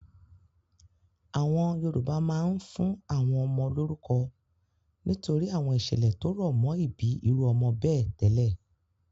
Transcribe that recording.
Àwọn Yorùbá máa ń fún àwọn ọmọ lórúkọ nítorí àwọn ìṣẹ̀lẹ̀ tó rọ̀ mọ́ ìbí irú ọmọ bẹ́ẹ̀ tẹ́lẹ̀.